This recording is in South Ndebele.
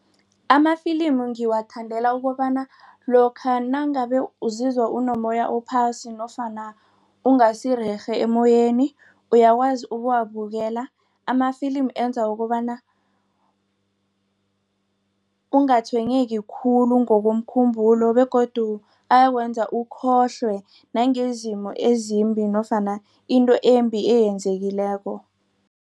Amafilimi ngiwathandela ukobana lokha nangabe uzizwa unommoya ophasi nofana ungasirerhe emmoyeni uyakwazi ukuwabukela. Amafilimi enza kobana ungatshwenyeki khulu ngokomkhumbulo begodu ayakwenza ukhohlwe nangezimo ezimbi nofana into embi eyenzekileko.